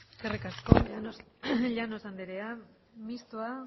eskerrik asko llanos andrea mistoa